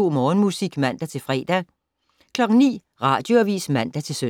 Morgenmusik, fortsat (man-fre) 09:00: Radioavis (man-søn)